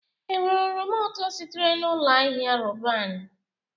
Enwere oroma ụtọ sitere na Ụlọ Ahịa Roban?